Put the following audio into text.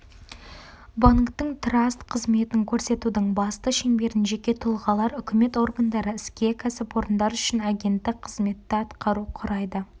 банктің траст қызметін көрсетудің басты шеңберін жеке тұлғалар үкімет органдары іскер кәсіпорындар үшін агенттік қызметті атқару құрайды